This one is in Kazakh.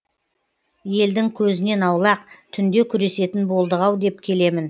елдің көзінен аулақ түнде күресетін болдық ау деп келемін